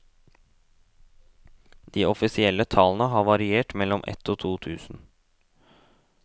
De offisielle tallene har variert mellom ett og to tusen.